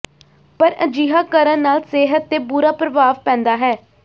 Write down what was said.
ਪਰ ਅਜਿਹਾ ਕਰਨ ਨਾਲ ਸਿਹਤ ਤੇ ਬੁਰਾ ਪ੍ਰਭਾਵ ਪੈਦਾ ਹੈ